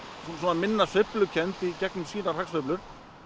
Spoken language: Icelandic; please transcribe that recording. minna sveiflukennd í gegnum sínar hagsveiflur